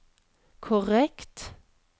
korrekt